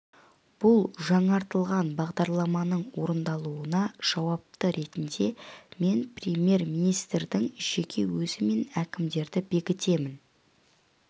бұл жаңартылған бағдарламаның орындалуына жауапты ретінде мен премьер-министрдің жеке өзі мен әкімдерді бекітемін